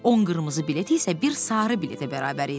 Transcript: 10 qırmızı bilet isə bir sarı biletə bərabər idi.